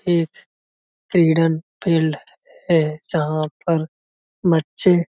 ये तिगडन फील्ड है जहाँ पर बच्चे--